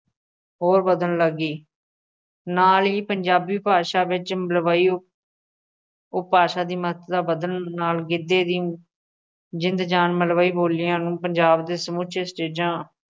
ਹੋਰ ਵੱਧਣ ਲੱਗੀ ਨਾਲ ਹੀ ਪੰਜਾਬੀ ਭਾਸ਼ਾ ਵਿੱਚ ਮਲਵਈ ਉਪਭਾਸ਼ਾ ਦੀ ਮਹੱਤਤਾ ਵਧਣ ਨਾਲ ਗਿੱਧੇ ਦੀ ਜ਼ਿੰਦ ਜਾਨ ਮਲਵਈ ਬੋਲੀਆਂ ਨੂੰ ਪੰਜਾਬ ਦੇ ਸਮੁੱਚੇ ਸਟੇਜ਼ਾਂ